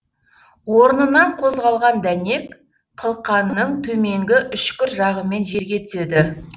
орнынан қозғалған дәнек қылқанның төменгі үшкір жағымен жерге түседі